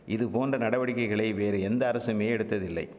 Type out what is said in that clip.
இதுபோன்ற நடவடிக்கைகளை வேறு எந்த அரசுமே எடுத்ததில்லை